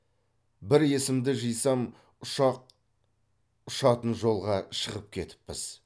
бір есімді жисам ұшақ ұшатын жолға шығып кетіппіз